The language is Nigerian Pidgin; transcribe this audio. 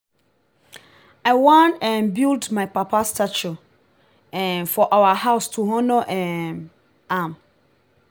i wan um build my papa statue um for our house to honor um am